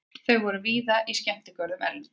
Þau eru víða í skemmtigörðum erlendis.